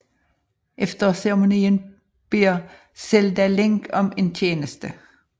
Efter ceremonien beder Zelda Link om en tjeneste